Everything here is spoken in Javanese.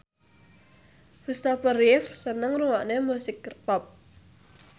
Christopher Reeve seneng ngrungokne musik pop